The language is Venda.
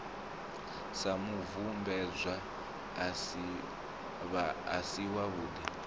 sa mubvumbedzwa a si wavhudi